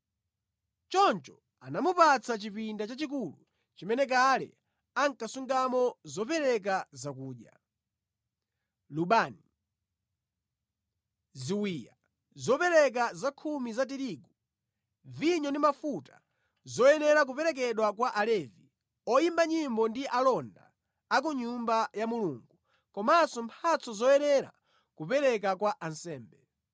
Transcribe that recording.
Choncho anamupatsa chipinda chachikulu chimene kale ankasungamo zopereka zakudya, lubani, ziwiya, zopereka za chakhumi za tirigu, vinyo ndi mafuta zoyenera kuperekedwa kwa Alevi, oyimba nyimbo ndi alonda a ku Nyumba ya Mulungu, komanso mphatso zoyenera kupereka kwa ansembe.